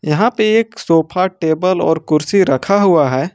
यहां पे एक सोफा टेबल और कुर्सी रखा हुआ है।